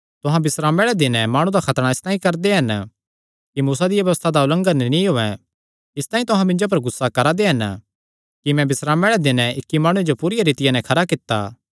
तुहां बिस्रामे आल़े दिने माणु दा खतणा इसतांई करदे हन कि मूसा दिया व्यबस्था दा उल्लंघन नीं होयैं तां तुहां मिन्जो पर इसतांई गुस्सा करा दे हन कि मैं बिस्रामे आल़े दिन इक्की माणुये जो पूरिया रीतिया नैं खरा कित्ता